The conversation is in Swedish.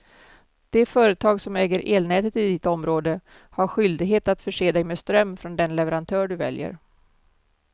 Det företag som äger elnätet i ditt område har skyldighet att förse dig med ström från den leverantör du väljer.